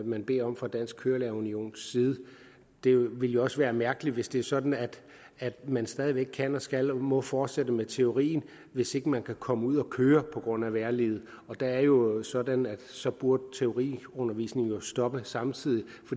man beder om fra dansk kørelærer unions side det vil også være mærkeligt hvis det er sådan at man stadig væk kan skal og må fortsætte med teorien hvis ikke man kan komme ud at køre på grund af vejrliget det er jo sådan at så burde teoriundervisningen stoppe samtidig